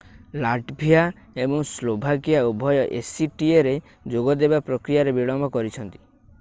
Latvia ଏବଂ Slovakia ଉଭୟ actaରେ ଯୋଗ ଦେବା ପ୍ରକ୍ରିୟାରେ ବିଳମ୍ବ କରିଛନ୍ତି।